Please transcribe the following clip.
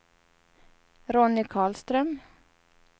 Ronny Karlström